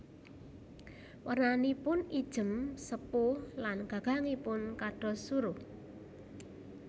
Wernanipun ijem sepuh lan gagangipun kados suruh